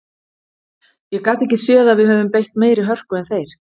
Ég gat ekki séð að við höfum beitt meiri hörku en þeir.